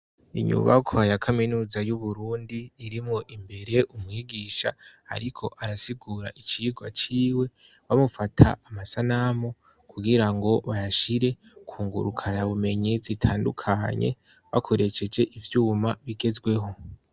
Inyubakwa ya kaminuza y'uburundi irimwo imbere umwigisha ariko arasigura icigo aciwe bamufata amasanamu kugira ngo bayashire kungurukara ya bumenyi zitandukanye bakoreseje ivyuma bigezweho.